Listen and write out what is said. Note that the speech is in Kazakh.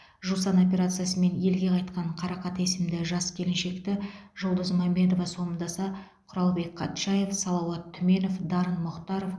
жусан операциясымен елге қайтқан қарақат есімді жас келіншекті жұлдыз мамедова сомдаса құралбек қатшаев салауат түменов дарын мұхтаров